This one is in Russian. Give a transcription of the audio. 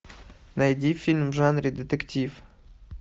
найди фильм в жанре детектив